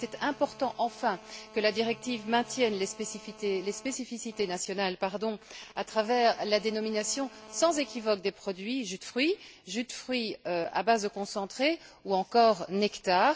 Il était important, enfin, que la directive maintienne les spécificités nationales à travers la dénomination sans équivoque des produits jus de fruits, jus de fruits à base de concentré ou encore nectar.